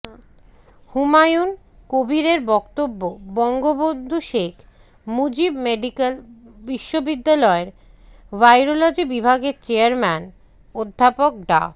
হুমায়ুন কবীরের বক্তব্য বঙ্গবন্ধু শেখ মুজিব মেডিকেল বিশ্ববিদ্যালয়ের ভাইরোলজি বিভাগের চেয়ারম্যান অধ্যাপক ডা